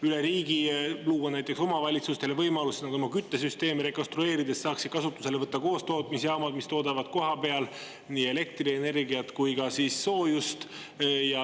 Üle riigi luua näiteks omavalitsustele võimaluse oma küttesüsteemi rekonstrueerida, et saaks kasutusele võtta koostootmisjaamad, mis toodavad kohapeal nii elektrienergiat kui ka soojust.